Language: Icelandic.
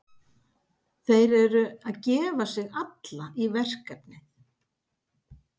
Þeir eru að gefa sig alla í verkefnið.